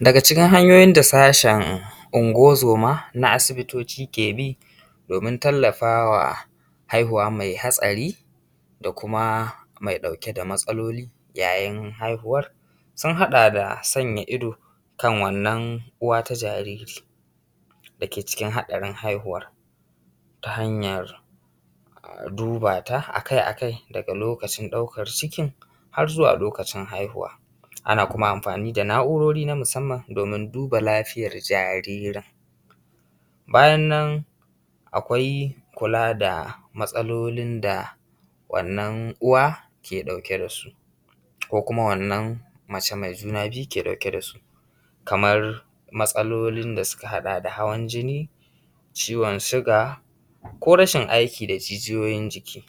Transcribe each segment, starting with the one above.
Daga cikin hanyoyin da sashen unguwan zoma na asibitoci ke bi domin tallafawa haihuwa mai hatsari, da kuma mai ɗauke da matsaloli yayin haihuwar sun haɗa da sanya ido kan wannan uwata ta jariri da ke cikin haɗarin haihuwar ta hanyan duba ta akai akai, daga lokacin ɗaukan cikin har zuwa lokacin haihuwa. Ana kuma amfani da na’urori na musamman domin duba lafiyar jaririn. Bayannan akwai kula da matsalolin da wannan uwa ke ɗauke da su, ko kuma wannan mace mai juna biyu ke ɗauke da su kamar matsalolin da suka haɗa da hawan jini, ciwon siga, ko rashin aiki da jijiyoyin jiki,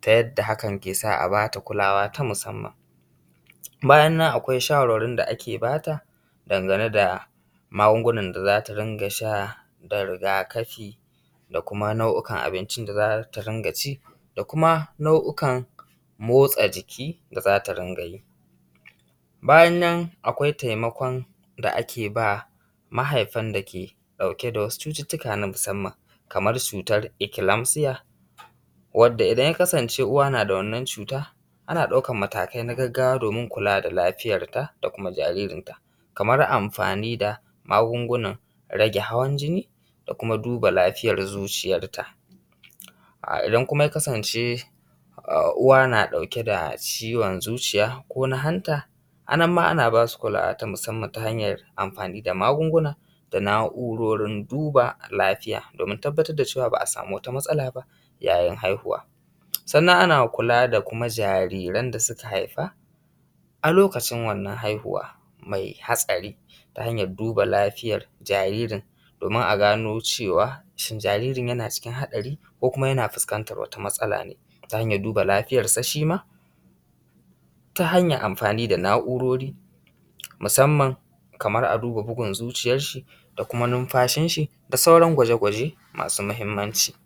ta yadda hakan kesa a ba ta ta kulawa ta musamman. Bayan nan akwai shawarwarin da ake ba ta dangane da magungunan da za ta dinga sha da rigakafi, da kuma nau’ukan abincin da za ta rinƙa ci, da kuma nau’ukan motsa jiki da za ta dinga yi. Bayan nan akwai taimakon da ake ba mahaifan da ke ɗauke da wasu cututtuka na musamman, kaman cutan eclepsia wadda idan ya kasance uwa na da wannnan cuta ana ɗaukan matakai na gaggawa domin kula da lafiyar ta, da kuma jaririnta kamar amfani da magungunan rage hawan jini, da kuma duba lafiyar zuciyarta. Idan kuma yakasance uwa na ɗauke da ciwon zuciya ko na hanta, a nan ma ana ba su kulawa ta musamman ta hanyar amfani da magungunan da na’urorin duba lafiya, domin tabbatar da cewa ba a samu wata matsala ba yayin haihuwa. Sannan ana kuma kula da jariran da ta haifa a lokacin wannan haihuwa mai hatsari, ta hanyan duba lafiyar jaririn domin a gano cewa shin jaririn yana cikin hatsari ko yana fuskantan wata matsala ne ta hanyan duba lafiyarsa shima ta hanyan amfani da na’urori musamman kaman a duba bugun zuciyar shi, da kuma nunfashin shi, da sauran gwajagwaje masu mahimmanci